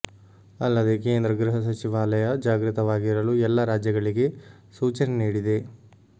ಅಲ್ಲದೆ ಕೇಂದ್ರ ಗೃಹ ಸಚಿವಾಲಯ ಜಾಗೃತವಾಗಿರಲು ಎಲ್ಲ ರಾಜ್ಯಗಳಿಗೆ ಸೂಚನೆ ನೀಡಿದೆ